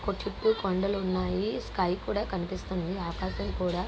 చుట్టూ కొండలు ఉన్నాయి. స్కై కూడా కనిపిస్తుంది. ఆకాశం కూడా--